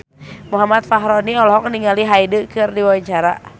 Muhammad Fachroni olohok ningali Hyde keur diwawancara